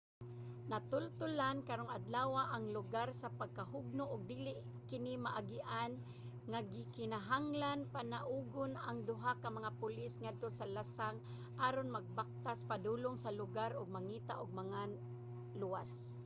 natultolan karong adlawa ang lugar sa pagkahugno ug dili kini maagian nga gikinahanglang panaugon ang duha ka mga pulis ngadto sa lasang aron magbaktas padulong sa lugar og mangita ug mga naluwas